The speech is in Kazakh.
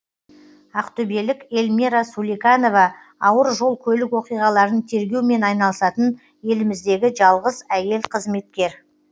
ақтөбелік эльмира суликанова ауыр жол көлік оқиғаларын тергеумен айналысатын еліміздегі жалғыз әйел қызметкер